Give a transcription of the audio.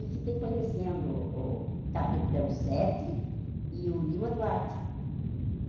E fiquei conhecendo o Capitão Sete e o Lima Duarte.